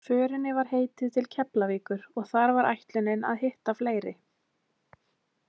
Förinni var heitið til Keflavíkur og þar var ætlunin að hitta fleiri.